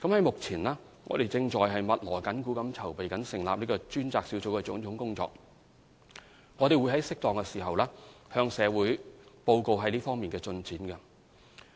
目前，我們正在密鑼緊鼓地籌備成立專責小組的種種工作，並會在適當時候向社會報告這方面的進展。